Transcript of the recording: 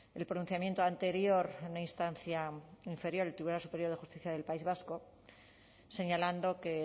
el pronunciamiento anterior en una instancia inferior el tribunal superior de justicia del país vasco señalando que